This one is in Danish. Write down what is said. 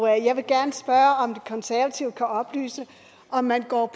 jeg vil gerne spørge om de konservative kan oplyse om man går